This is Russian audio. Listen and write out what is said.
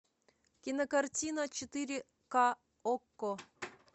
кинокартина четыре ка окко